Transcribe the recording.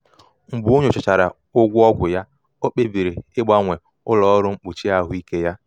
mgbe o nyochachara ụgwọ ọgwụ ya ọ kpebiri ịgbanwe ụlọ ọrụ mkpuchi ahụike ya.